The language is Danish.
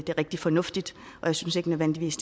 rigtig fornuftigt og jeg synes ikke nødvendigvis